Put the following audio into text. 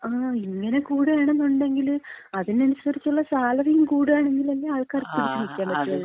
ങാ, ഇങ്ങനെ കൂടുകയാണെന്നുണ്ടെങ്കില് അതിനനുസരിച്ചൊള്ള സാലറിയും കൂടാണെങ്കിലല്ലേ ആൾക്കാർക്ക് പിടിച്ചുനില്‍ക്കാന്‍ പറ്റുള്ളു.